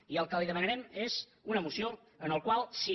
i el que li demanarem és una moció en la qual si